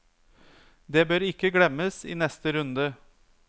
Det bør ikke glemmes i neste runde.